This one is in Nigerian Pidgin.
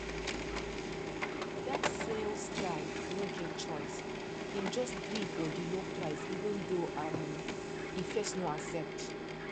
that sales guy no get choice him just gree for the low price even though um e first no accept